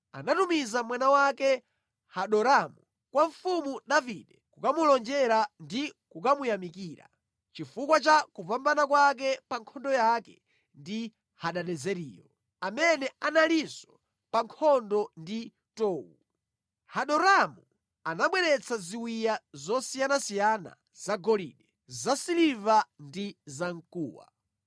anatumiza mwana wake Hadoramu kwa mfumu Davide kukamulonjera ndi kukamuyamikira chifukwa cha kupambana kwake pa nkhondo yake ndi Hadadezeriyo, amene analinso pa nkhondo ndi Tou. Hadoramu anabweretsa ziwiya zosiyanasiyana zagolide, zasiliva ndi zamkuwa.